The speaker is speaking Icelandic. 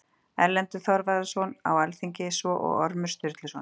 Erlendur Þorvarðarson var á alþingi, svo og Ormur Sturluson.